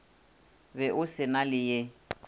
be o se na leye